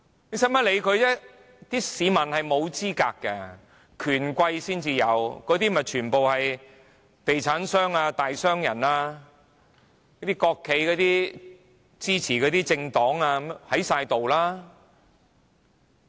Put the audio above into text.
不用理會他們，因為市民沒有資格，權貴才有，那些全部是地產商、大商人、國企支持的政黨，全部都在。